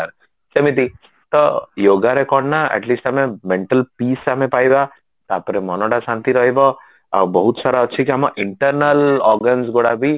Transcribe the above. ସେମିତି ତ yogaରେ କଣ ନାଁ at least ଆମେ mental peace ଆମେ ପାଇବା ତାପରେ ମନଟା ଶାନ୍ତି ରହିବ ଆଉ ବହୁତ ସାରା ଅଛି କି ଆମ internal organs ଗୁଡା ବି